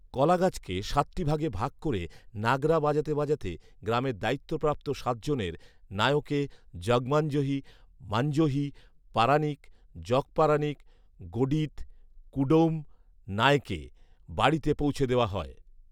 কলাগাছকে সাতটি ভাগে ভাগ করে নাগরা বাজাতে বাজাতে গ্রামের দায়িত্বপ্রাপ্ত সাত জনের নায়কে, জগমাঞ্জহি, মাঞ্জহি, পারানিক, জগপারানিক, গডিৎ, কুডৗম নায়কে বাড়িতে পৌঁছে দেওয়া হয়